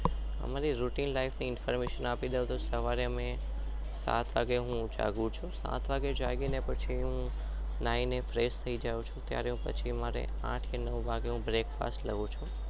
અમારી રોજીન લીફે ની આપી દઉં તો